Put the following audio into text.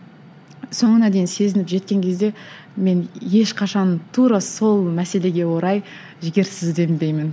соңына дейін сезініп жеткен кезде мен ешқашан тура сол мәселеге орай жігерсізденбеймін